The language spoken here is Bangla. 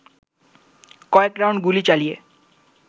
কয়েক রাউন্ড গুলি চালিয়ে